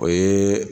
O ye